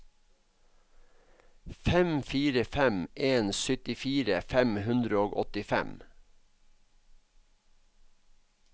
fem fire fem en syttifire fem hundre og åttifem